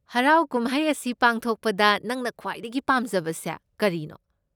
ꯍꯔꯥꯎ ꯀꯨꯝꯍꯩ ꯑꯁꯤ ꯄꯥꯡꯊꯣꯛꯄꯗ ꯅꯪꯅ ꯈ꯭ꯋꯥꯏꯗꯒꯤ ꯄꯥꯝꯖꯕꯁꯦ ꯀꯔꯤꯅꯣ?